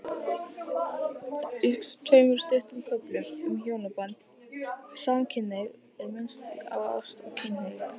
Í tveimur stuttum köflum um hjónaband og samkynhneigð er minnst á ást og kynhneigð.